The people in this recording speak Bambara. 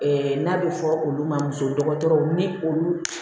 n'a bɛ fɔ olu ma muso dɔgɔtɔrɔw ni olu